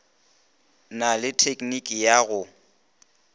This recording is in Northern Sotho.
na le tekniki ya go